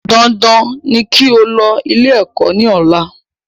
Dandan ni kí o lọ ilé ẹ̀kọ́ ní ọ̀la